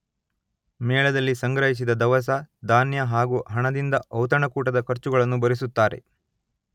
ಮೇಳದಲ್ಲಿ ಸಂಗ್ರಹಿಸಿದ ದವಸ, ಧಾನ್ಯ ಹಾಗೂ ಹಣದಿಂದ ಔತಣಕೂಟದ ಖರ್ಚುಗಳನ್ನು ಭರಿಸುತ್ತಾರೆ.